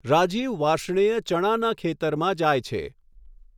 રાજીવ વાર્ષ્ણેય ચણાના ખેતરમાં જાય છે.